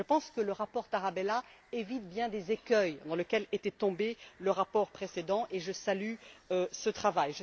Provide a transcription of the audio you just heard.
Je pense que le rapport Tarabella évite un grand nombre des écueils dans lesquels était tombé le rapport précédent et je salue ce travail.